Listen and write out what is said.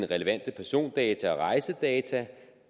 relevante persondata og rejsedata